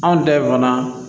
Anw ta in fana